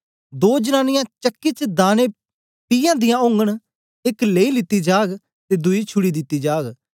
दो जनांनीयां चक्की च दाने पीयादियां ओगन एक लेई लेती जाग ते दुई छुड़ी दिती जाग